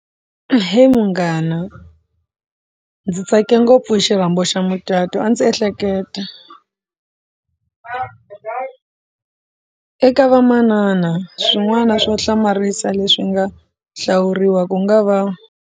Ahee, munghana ndzi tsake ngopfu xirhambo xa mucato a ndzi ehleketa eka vamanana swin'wana swo hlamarisa leswi nga hlawuriwa ku nga va.